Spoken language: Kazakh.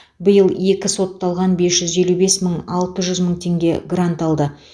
биыл екі сотталған бес жүз елу бес мың алты жүз мың теңге грант алды